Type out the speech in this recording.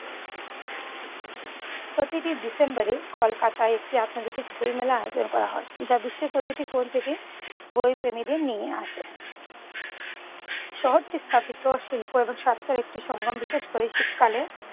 প্রতিটি ডিসেম্বরে কলকাতায় একটি আন্তর্জাতিক বইমেলার আয়োজন করা হয়। যা বিশ্বের প্রতিটি কোণ থেকে বইপ্রেমীদের নিয়ে আসে। শহরটি স্থাপিত শিল্প এবং স্বাস্থ্যের একটি সংগম বিশেষ করে শীতকালে।